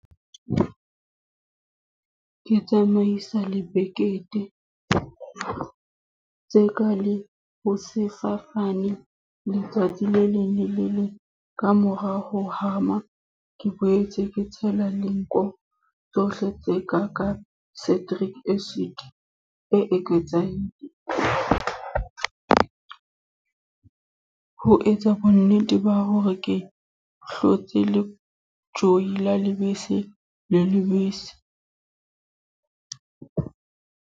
Ke tsamaisa lebekete. Tje ka le hosasane, letsatsi le leng le le leng kamora ho hama. Ke boetse ke tshela le nko tsohle tse ka ka cedric acid e eketsehileng. Ho etsa bo nnete ba hore ha ke hloke le joyi la lebese le lebese.